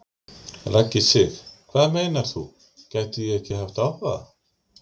Raggi Sig: Hvað meinar þú, gæti ég ekki haft áhuga?